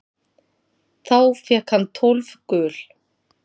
Þá fékk hann tólf gul.